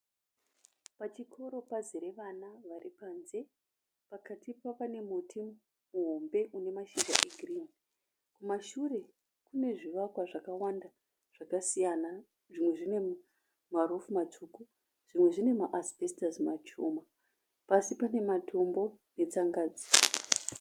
Pachikoro pazere vana varipanze pakati pa panemuti muhombe unemashizha egirini. Kumashure kunezvivakwa zvakawanda zvakasiyana. Zvimwe zvinemarufu matsvuku zvimwe zvine maasibhesitasi mashoma. Pasi panematombo netsangadzi.